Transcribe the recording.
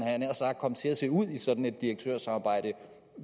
jeg nær sagt komme til at se ud i sådan et direktørsamarbejde